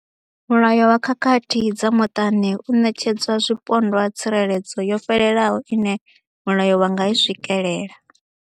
Mulayo wa khakhathi dza muṱani u ṋetshedza zwipondwa tsireledzo yo fhelelaho ine mulayo wa nga i swikela.